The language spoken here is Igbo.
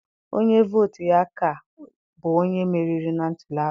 Onye vootu ya ka, bụ onye meriri na ntuliaka.